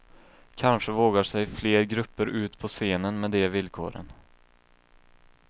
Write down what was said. Kanske vågar sig fler grupper ut på scenen med de villkoren.